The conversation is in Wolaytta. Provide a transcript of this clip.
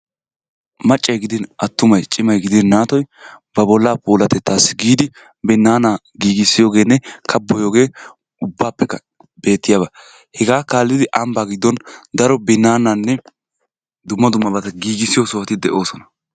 Maccay gidin attumay, cimay gidin naatoy ba bollaa puulatettaassi giidi binnaanaa giigissiyogeenne kabboyiyogee ubbaappekka beettiyaba. Hegaa kaallidi ambbaa giddon daro binnaanaanne dumma dummabata giigissiyo sohoti de'oosona.